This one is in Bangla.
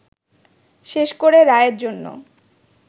শেষ করে রায়ের জন্য